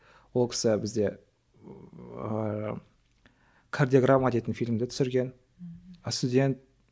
ол кісі бізде ыыы кардиограмма дейтін фильмді түсірген